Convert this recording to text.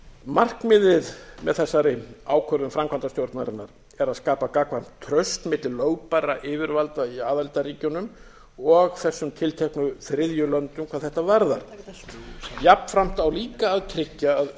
markmiðið með þessari ákvörðun framkvæmdastjórnarinnar er að skapa gagnkvæmt traust milli lögbærra yfirvalda í aðildarríkjunum og þessum tilteknu þriðju löndum hvað þetta varðar jafnframt á líka að tryggja að